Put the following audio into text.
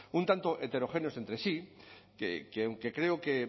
un tanto heterogéneos entre sí que aunque